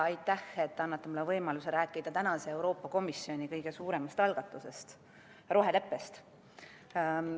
Aitäh, et te annate mulle võimaluse rääkida tänase Euroopa Komisjoni kõige suuremast algatusest, roheleppest!